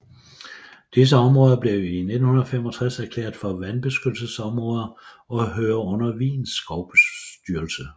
Disse områder blev i 1965 erklæret for vandbeskyttelsesområder og hører under Wiens skovstyrelse